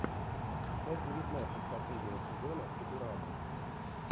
часть девятнадцать последнего сезона футурама